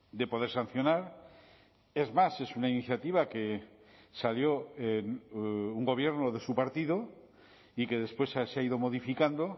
de poder sancionar es más es una iniciativa que salió un gobierno de su partido y que después se ha ido modificando